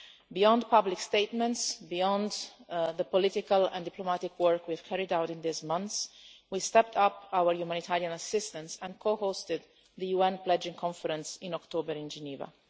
Beyond public statements and beyond the political and diplomatic work we have carried out in these months, we stepped up our humanitarian assistance and co-hosted the UN Pledging Conference in October in Geneva.